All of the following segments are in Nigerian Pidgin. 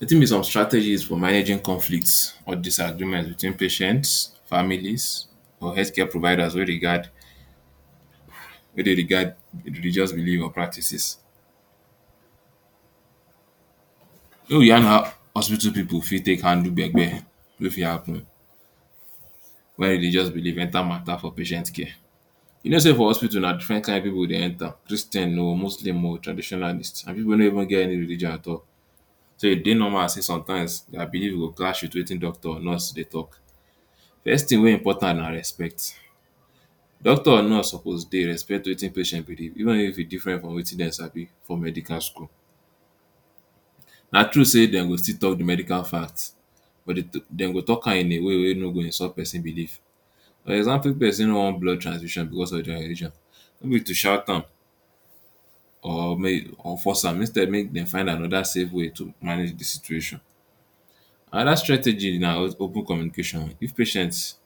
Wetin be some strategies for managing conflicts or disagreement between patients, families or health care providers wey regard wey dey regard religious belief or practices. Make we yan how hospital pipu fit handle gbe gbe wey fit happen when religious believe enter mata for patient care. You no say for hospital na different kind of people dey enter Christians oh, muslims oh, traditionalist and pipu wey no get religion at all, so e dey normal say some times their believe go clash with wetin nurse doctor dey talk. First thing wey important na respect, doctor and nurse suppose dey respect wetin patient dey talk even if e different from wetin dem sabi for medical school. Na true say dem go still talk de medical fact, dem go talk am in a way wey e no go insult person believe, for example if person wan blood transfusion or no be to shout am or force am instead make find dem another safe way make dem manage dey situation another strategy na open communication if patients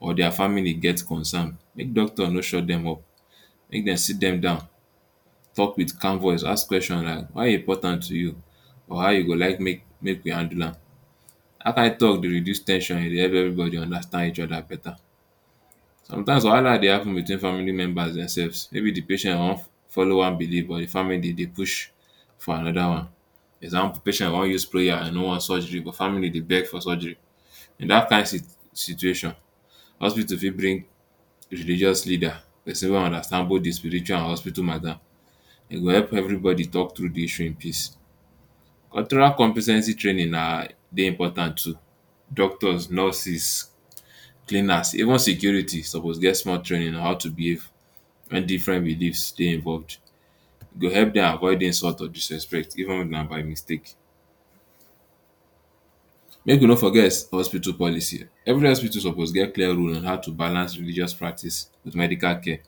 or their family get concern make doctor no shut dem up, make dem seat dem down talk with calm voice ask question how e important to you or how you go like make we handle am dat kind talk dey reduce ten sion e dey make every body dey understand each other beta. Sometimes wahala dey happen between family members demselves maybe de patient wan follow one belive but dey family dem dey push for another one, for example patient wan use prayer e no want surgery but family dey beg for surgery in dat kind situation, hospital fit bring religious leader person wey understand both de spiritual and hospital mata e go help every body talk true the issue in peace. compe ten ce training na dey important to doctors, nurses, cleaners even securities suppose get small training on how to behave when different beliefs dey involved, e go help dem avoid insult or disrespect even if na by mistake. Make we no forget hospital policy every hospital suppose get clear rule how to balance religious practice with medical care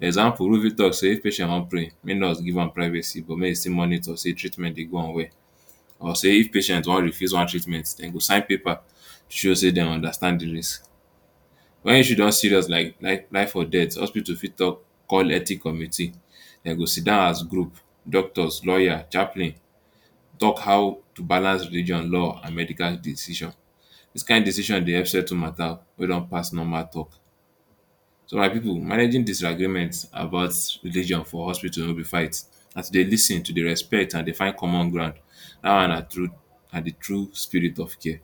example wey fit talk say if patient wan pray make nurse give am privacy but make em still monitor sey treatment dey go on well or say if patient wan refuse one treatment dem go sign one paper show say dem understand de risk wey issue don serious like life or death hospital fit call ethic committee dem go seat down as group doctors lawyers, chaplain talk how to balance religion, law and medical decision dis kind decision dey help settle matter wey don pass normal talk so my pipu managing disagreement about religion for hospital no be fight, as u dey lis ten to dey respect and dey find common ground dat one na true um na de true spirit of care.